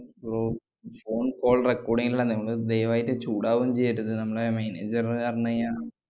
ഫോ~ phone call record ചെയ്യണില്ലന്ന്. നിങ്ങള് ദയവായിട്ട് ചൂടാവൊന്നും ചെയ്യരുത്. നമ്മള് manager അറിഞ്ഞ് കയിഞ്ഞാ